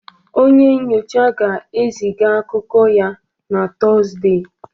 Onye nyocha ga-eziga akụkọ ya na Tọzdee